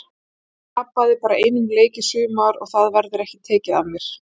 Ég tapaði bara einum leik í sumar og það verður ekki tekið af mér.